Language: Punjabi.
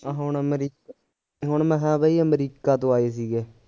ਆ ਹੁਣ ਹੁਣ ਅਮਰੀ ਹੁਣ ਮਸਾਂ ਬਈ ਅਮਰੀਕਾ ਤੋਂ ਆਏ ਸੀਗੇ